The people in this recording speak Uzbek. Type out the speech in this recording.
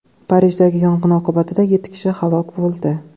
Parijdagi yong‘in oqibatida yetti kishi halok bo‘ldi.